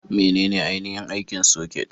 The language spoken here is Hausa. Menene ainihin aikin soket?